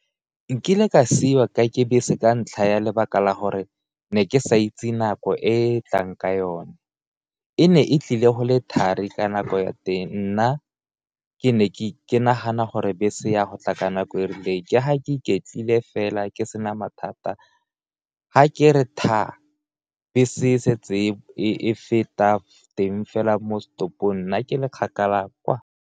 Nkile ka siwa ke bese ka ntlha ya lebaka la gore ne ke sa itse nako e e tlang ka yone, e ne e tlile go le thari ka nako ya teng, nna ke ne ke nagana gore bese ya go tla ka nako e rileng ke ga ke iketlile fela ke sena mathata, ga ke re thaa, bese e setse e feta teng fela mo setopong nna ke le kgakala kwaa.